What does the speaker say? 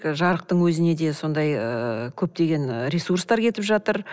жарықтың өзіне де сондай ыыы көптеген ы ресурстар кетіп жатыр